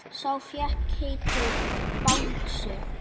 Sá fékk heitið Bangsi.